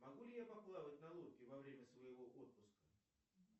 могу ли я поплавать на лодке во время своего отпуска